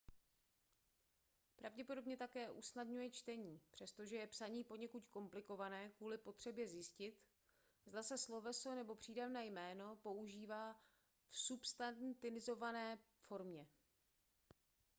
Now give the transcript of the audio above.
pravděpodobně také usnadňuje čtení přestože je psaní poněkud komplikované kvůli potřebě zjistit zda se sloveso nebo přídavné jméno používá v substantivizované formě